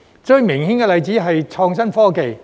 最明顯的例子是創新科技。